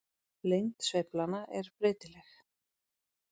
Lengd sveiflanna er breytileg.